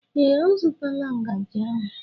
Ee, ọ zụtala ngaji ahụ